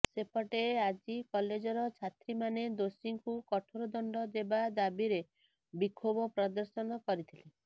ସେପଟେ ଆଜି କଲେଜର ଛାତ୍ରୀମାନେ ଦୋଷୀଙ୍କୁ କଠୋର ଦଣ୍ଡ ଦେବା ଦାବିରେ ବିକ୍ଷୋଭ ପ୍ରଦର୍ଶନ କରିଥିଲେ